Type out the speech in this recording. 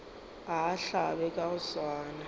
a hlabe ka go swana